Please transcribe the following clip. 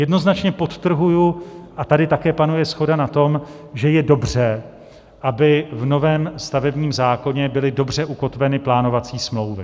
Jednoznačně podtrhuji - a tady také panuje shoda na tom - že je dobře, aby v novém stavebním zákoně byly dobře ukotveny plánovací smlouvy.